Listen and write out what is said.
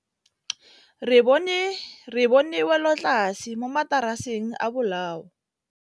Re bone wêlôtlasê mo mataraseng a bolaô.